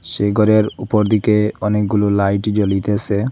সেই গরের উপর দিকে অনেকগুলো লাইট জ্বলিতেসে।